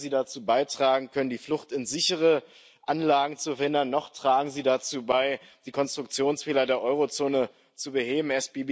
Weder werden sie dazu beitragen können, die Flucht in sichere Anlagen zu verhindern, noch tragen sie dazu bei, die Konstruktionsfehler der Eurozone zu beheben.